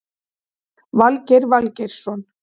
Valgeir Valgeirsson